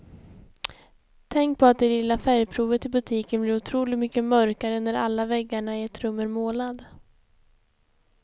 Tänk på att det lilla färgprovet i butiken blir otroligt mycket mörkare när alla väggarna i ett rum är målade.